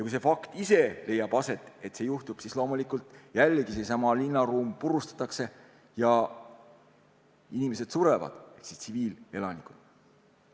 Kui see leiab aset, siis loomulikult jällegi seesama linnaruum purustatakse ja surevad inimesed, tsiviilelanikud.